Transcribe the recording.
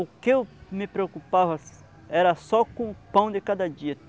O que eu me preocupava era só com o pão de cada dia.